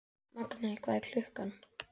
Magney, hvað er klukkan?